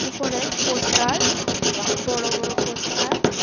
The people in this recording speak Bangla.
উপরে পোস্তার বড় বড় পোস্তার --